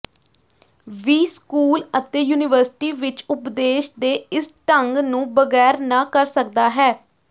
ਵੀ school ਅਤੇ university ਵਿੱਚ ਉਪਦੇਸ਼ ਦੇ ਇਸ ਢੰਗ ਨੂੰ ਬਗੈਰ ਨਾ ਕਰ ਸਕਦਾ ਹੈ